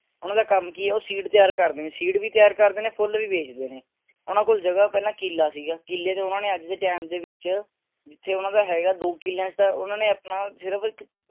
ਉਨ੍ਹਾਂ ਦਾ ਕੰਮ ਕਿ ਹੈ ਉਹ seed ਤਿਆਰ ਕਰਦੇ ਨੇ seed ਵੀ ਤਿਆਰ ਕਰਦੇ ਨੇ ਫੁੱਲ ਵੀ ਵੇਚਦੇ ਨੇ ਉਨ੍ਹਾਂ ਕੋਲ ਜਗਾਹ ਪਹਿਲਾਂ ਕਿਲਾ ਸੀਗਾ। ਕਿਲੇ ਓਹਨਾ ਕੋਲ ਅੱਜ ਦੇ ਟਾਈਮ ਦੇ ਵਿਚ ਜਿਥੇ ਓਹਨਾ ਦਾ ਹੇਗਾ ਦੋ ਕਿਲੇ ਤਾਂ ਉਨ੍ਹਾਂਨੇ ਆਪਣਾ ਸਿਰਫ